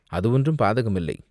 "அது ஒன்றும் பாதகமில்லை.